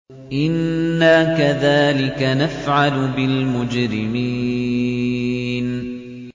إِنَّا كَذَٰلِكَ نَفْعَلُ بِالْمُجْرِمِينَ